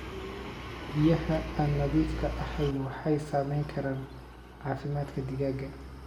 Biyaha aan nadiifka ahayn waxay saameyn karaan caafimaadka digaagga.